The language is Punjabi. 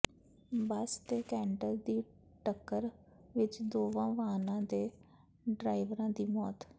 ਬੱਸ ਤੇ ਕੈਂਟਰ ਦੀ ਟੱਕਰ ਵਿੱਚ ਦੋਵਾਂ ਵਾਹਨਾਂ ਦੇ ਡਰਾਈਵਰਾਂ ਦੀ ਮੌਤ